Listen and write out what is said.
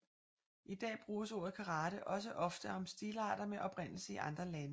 I dag bruges ordet karate også ofte om stilarter med oprindelse i andre lande